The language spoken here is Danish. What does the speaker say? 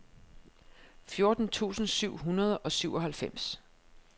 fjorten tusind syv hundrede og syvoghalvfems